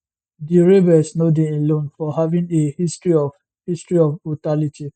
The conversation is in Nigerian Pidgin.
di rebels no dey alone for having a history of history of brutality